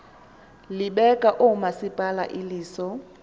libeka oomasipala iliso